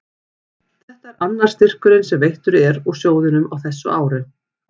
Þetta er annar styrkurinn sem veittur er úr sjóðnum á þessu ári.